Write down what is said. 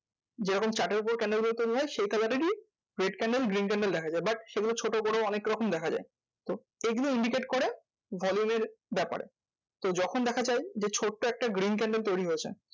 যেরকম chart এর উপর candle গুলো তৈরী হয় সেই colour এরই red candle green candle দেখা যায়। but সেগুলো ছোট বড়ো অনেক রকম দেখা যায় তো এগুলো indicate করে volume এর ব্যাপারে। তো যখন দেখা যায় যে, ছোট্ট একটা green candle তৈরী হয়েছে।